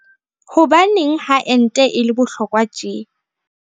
Hobaneng ha ente e le bohlokwa tje?